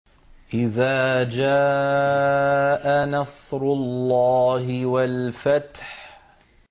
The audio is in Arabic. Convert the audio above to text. إِذَا جَاءَ نَصْرُ اللَّهِ وَالْفَتْحُ